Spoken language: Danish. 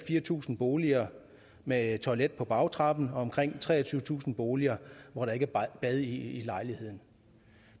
fire tusind boliger med toilet på bagtrappen og omkring treogtyvetusind boliger hvor der ikke er bad i lejligheden